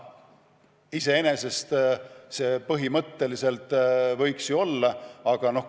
Iseenesest see põhimõtteliselt võiks ju olla võimalik.